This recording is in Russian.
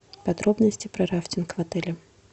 подробности про рафтинг в отеле